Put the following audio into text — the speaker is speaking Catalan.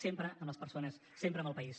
sempre amb les persones sempre amb el país